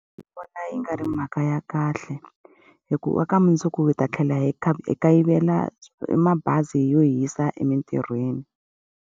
Ndzi vona yi nga ri mhaka ya kahle, hikuva ka mundzuku hi ta tlhela hi hi kayivela mabazi yo hi yisa emintirhweni.